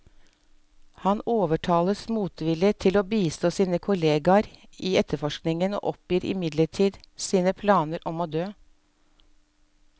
Han overtales motvillig til å bistå sine tidligere kolleger i etterforskningen, og oppgir midlertidig sine planer om å dø.